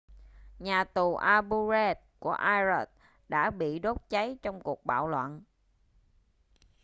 nhà tù abu ghraib của iraq đã bị đốt cháy trong cuộc bạo loạn